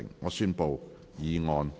我宣布議案獲得通過。